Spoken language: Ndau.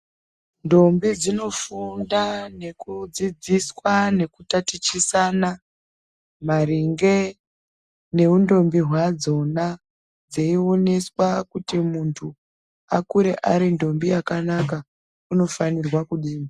Ndombi dzinofunda nekudzidziswa nekutatichisana maringe ngeundombi wadzona dzeioneswa kuti muntu akure aridhombi yakanaka unofanirwa kudii .